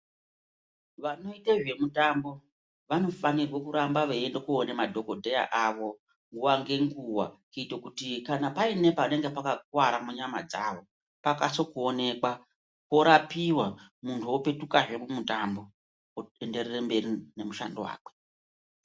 Vanoite zvemitambo, vanofanirwe kuramba veiende koone madhokodheya avo nguwa nenguwa, kuite kuti paine panenge pakakuwara munyama dzavo pakase kuonekwa, porapiwa, munhu opetukazve mumutambo ,oenderere mberi nemishando wake.